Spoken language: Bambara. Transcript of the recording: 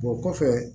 Bɔ kɔfɛ